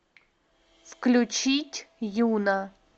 включить юна